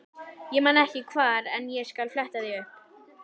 Ég man ekki hvar en ég skal fletta því upp.